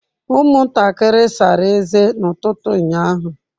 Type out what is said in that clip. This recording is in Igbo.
Ụmụntakịrị sara ezé n'ụtụtụ ụnyaahụ.